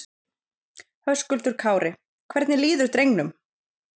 Höskuldur Kári: Hvernig líður drengnum?